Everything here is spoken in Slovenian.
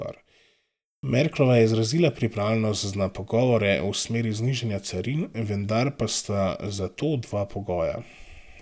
Merklova je izrazila pripravljenost na pogovore v smeri znižanja carin, vendar pa sta za to dva pogoja.